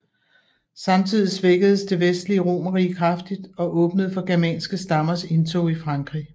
Samtidig svækkedes det vestlige romerrige kraftigt og åbnede for germanske stammers indtog i Frankrig